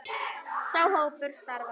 Sá hópur starfar enn.